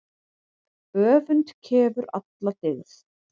Öfund kefur alla dyggð.